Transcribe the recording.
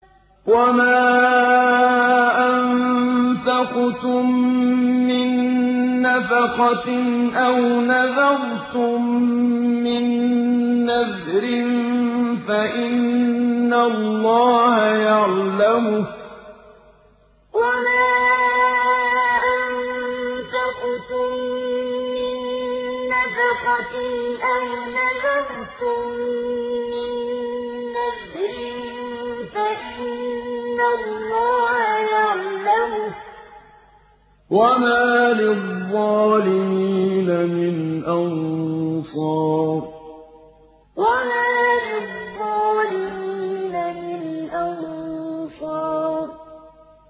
وَمَا أَنفَقْتُم مِّن نَّفَقَةٍ أَوْ نَذَرْتُم مِّن نَّذْرٍ فَإِنَّ اللَّهَ يَعْلَمُهُ ۗ وَمَا لِلظَّالِمِينَ مِنْ أَنصَارٍ وَمَا أَنفَقْتُم مِّن نَّفَقَةٍ أَوْ نَذَرْتُم مِّن نَّذْرٍ فَإِنَّ اللَّهَ يَعْلَمُهُ ۗ وَمَا لِلظَّالِمِينَ مِنْ أَنصَارٍ